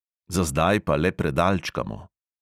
Za zdaj pa le predalčkamo.